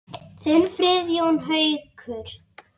Þinn Friðjón Haukur.